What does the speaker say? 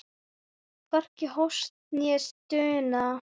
Hvorki hósti né stuna.